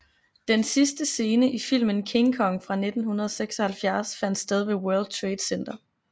Den sidste scene i filmen King Kong fra 1976 fandt sted ved World Trade Center